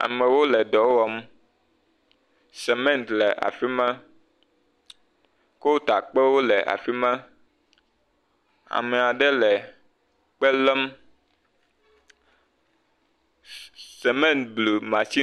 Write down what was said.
Amewo le dɔ wɔm, semɛnt le afi ma, kotakpewo le afi ma, amea ɖe le kpe lém, semɛnt blu matsin…